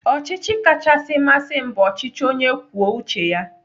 Ọchịchị kachasị masị m bụ ọchịchị onye kwuo uche ya.